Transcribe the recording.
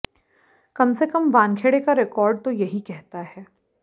कम से कम वानखेड़े का रिकॉर्ड तो यही कहता है